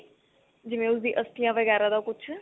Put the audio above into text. ਜਿਵੇਂ ਉਸਦੀ ਅਸਥੀਆਂ ਵਗੈਰਾ ਦਾ ਕੁੱਝ